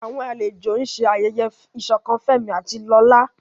Àwọn àlejò ń ṣe ayẹyẹ ìṣọ̀kan Fẹ́mi àti Lola.